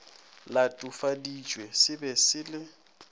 latofaditšwe se be se le